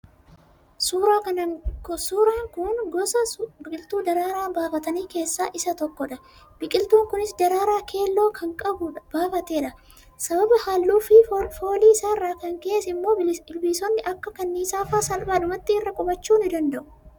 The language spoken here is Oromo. suuraa kun gosa biqiltuu daraaraa baafatanii keessaa isa tokko dha. biqiltuun kunis daraaraa keelloo kan baafatedha. sababa halluufi foolii isaa irraa kan ka'es immoo ilbiisonni akka kanniisaafaa salphaadhumatti irra kuphachuu ni danda'u.